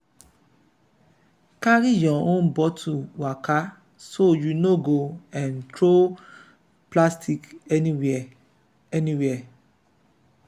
carry your own bottle waka so you no go um throw plastic anywhere. anywhere.